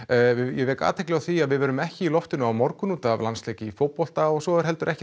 ég vek athygli á því að við verðum ekki í loftinu á morgun út af landsleik í fótbolta og svo er ekki